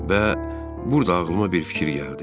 Və burda ağlıma bir fikir gəldi.